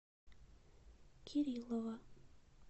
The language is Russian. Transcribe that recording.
кириллова